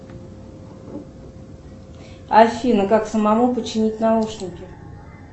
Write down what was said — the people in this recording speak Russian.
афина как самому починить наушники